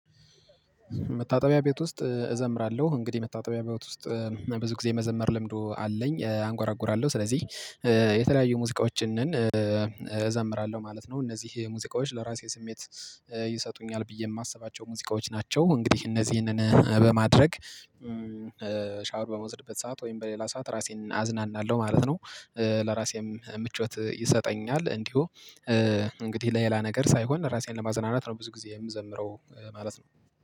መታጠቢያ ቤት ውስጥ እዘምራለሁ እንግዲህ መታጠቢያ ቤት ውስጥ ብዙ ጊዜ መዘመር ልምዶ አለኝ አንጓራጉራለሁ ስለዚህ የተለያዩ ሙዚቃዎችን እዘምራለሁ ማለት ነው። እነዚህ ሙዚቃዎች ለራሴ ስሜት ይሰጡኛል ብዬ የማስባቸው ሙዚቃዎች ናቸው። እንግዲህ እነዚህንን በማድረግ ሻወር በምወስድበት ሰዓት ወይም በሌላ ሰዓት ራሴን አዝናናለሁ ማለት ነው። ለራሴም ምቾት ይሰጠኛል እንዲሁ እንግዲህ ለሌላ ነገር ሳይሆን ራሴን ለማዘናናት ነው። ብዙ ጊዜ የምዘምረው ማለት ነው